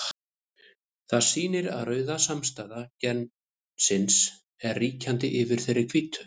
Það sýnir að rauða samsæta gensins er ríkjandi yfir þeirri hvítu.